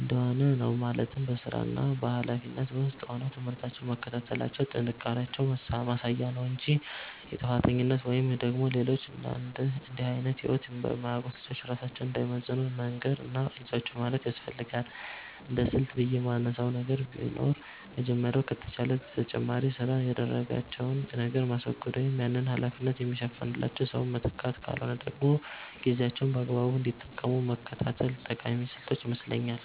እንደሆነ ነው፤ ማለትም በስራና ሀላፊነት ውስጥ ሆነው ትምህርታቸውን መከታተላቸው የጥንካሬያቸው ማሳያ እንጂ የጥፋተኝነት ወይም ደግሞ ሌሎች እንድህ አይነት ህይወት በማያውቁት ልጆች ራሳቸውን እንዳይመዝኑ መንገር እና አይዟችሁ ማለት ያስፈልጋል። እንደስልት ብየ የማነሳው ነገር ቢኖር የመጀመሪያው ከተቻለ ለተጨማሪ ስራ የዳረጋቸውን ነገር ማስወገድ ወይም ያንን ሀላፊነት የሚሸፍንላቸው ሰው መተካት ካልሆነ ደግሞ ጊዜያቸውን በአግባቡ እንዲጠቀሙ መከታተል ጠቃሚ ስልቶች ይመስለኛል።